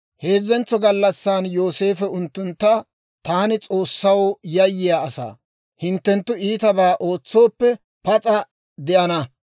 Heezzentso gallassan Yooseefo unttuntta, «Taani S'oossaw yayyiyaa asaa; hinttenttu ittibaa ootsooppe, pas'a de'ana.